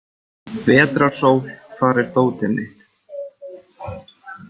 Vetrarsól, hvar er dótið mitt?